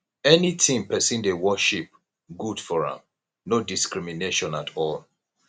anything pesin dey worship good for am no discrimination at all